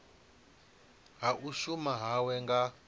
ha u shuma hawe nga